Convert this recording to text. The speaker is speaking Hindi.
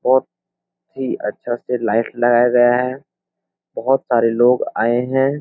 बहुत ही अच्छा से लाइट लगाया गया है। बहुत सारे लोग आए हैं।